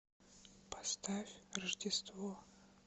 поставь рождество